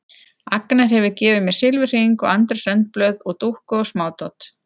Agnar hefur gefið mér silfurhring og Andrés önd blöð og dúkku og smádót.